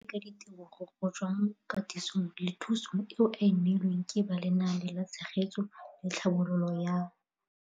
Seno ke ka ditebogo go tswa mo katisong le thu song eo a e neilweng ke ba Lenaane la Tshegetso le Tlhabololo ya